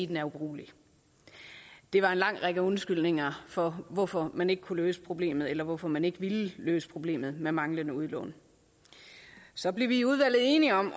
den er ubrugelig det var en lang række undskyldninger for hvorfor man ikke kunne løse problemet eller hvorfor man ikke ville løse problemet med manglende udlån så blev vi i udvalget enige om